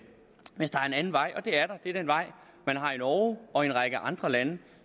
anden vej og det er der det er den vej man har i norge og en række andre lande og